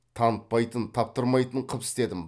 танытпайтын таптырмайтын қып істедім